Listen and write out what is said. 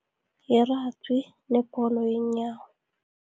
Ye-Rugby nebholo yeenyawo.